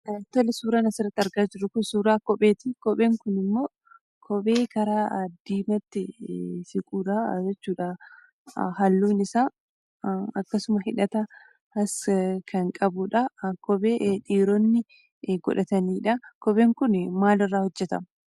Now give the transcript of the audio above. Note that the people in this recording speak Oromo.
Tole! suuraan asirratti argaa jirru kun suuraa kopheeti. Kopheen kunimmoo, kophee gara diimaatti siquudha jechuudha. Halluun isaa akkasuma hidhatas kan qabuudha. Kophee dhiironni godhataniidha. Kopheen kunii maalirraa hojjetama?